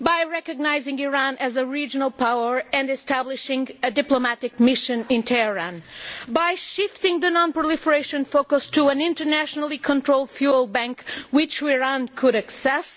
We could do this by recognising Iran as a regional power and establishing a diplomatic mission in Tehran and by shifting the non proliferation focus to an internationally controlled fuel bank which Iran could access.